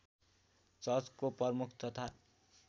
चर्चको प्रमुख तथा